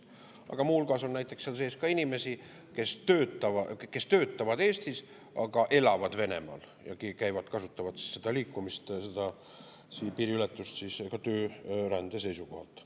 Aga muu hulgas on seal sees näiteks ka inimesi, kes töötavad Eestis, aga elavad Venemaal ja kasutavad seda piiriületust siis ka töörände seisukohalt.